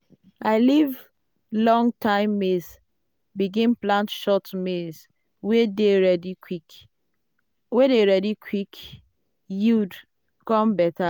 i leave long-time maize begin plant short maize wey dey ready quick yield come better.